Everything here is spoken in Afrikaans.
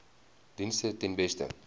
dienste ten beste